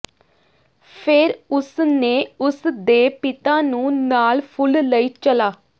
ਫਿਰ ਉਸ ਨੇ ਉਸ ਦੇ ਪਿਤਾ ਨੂੰ ਨਾਲ ਫੁੱਲ ਲਈ ਚਲਾ